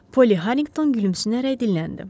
Poli Harrington gülümsünərək dilləndi.